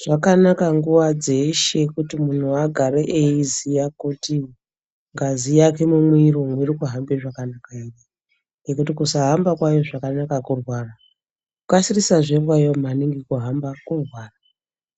Zvakanaka nguwa dzeshe kuti munhu agAre eiziya kuti ngazi yake mumwiri umu iri kuhambe zvakanaka ere ngokuti kusahamba kwayo zvakanaka kurwara kukasirisazve kwayo maningi kuhamba kurwara